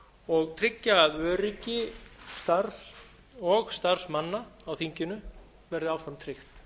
og tryggja að öryggi starfs og starfsmanna á þinginu verði áfram tryggt